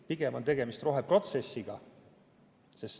Pigem on tegemist roheprotsessiga.